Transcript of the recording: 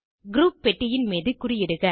group பெட்டியின் மீது குறியிடுக